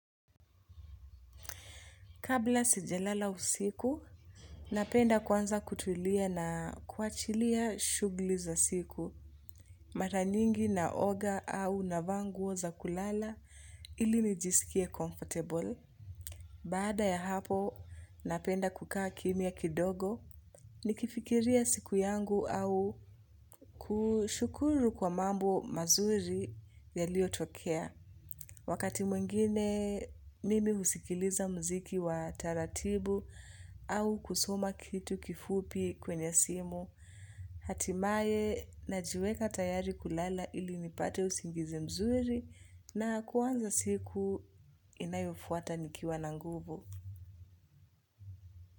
Kabla sijalala usiku, napenda kwanza kutulia na kuachilia shughuli za siku. Mara nyingi naoga au navaa nguo za kulala ili nijiskie comfortable. Baada ya hapo, napenda kukaa kimya kidogo. Nikifikiria siku yangu au kushukuru kwa mambo mazuri yaliyotokea. Wakati mwingine mimi husikiliza mziki wa taratibu au kusoma kitu kifupi kwenye simu, hatimaye najiweka tayari kulala ili nipate usingizi mzuri na kuanza siku inayofuata nikiwa na nguvu.